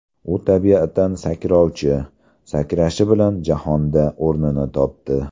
U tabiatan sakrovchi, sakrashi bilan jahonda o‘rnini topdi.